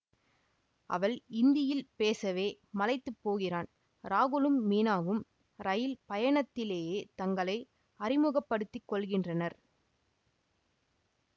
அவள் இந்தியில் பேசவே மலைத்துப் போகிறான் ராகுலும் மீனாவும் ரயில் பயணத்திலேயே தங்களை அறிமுகப்படுத்திக் கொள்கின்றனர்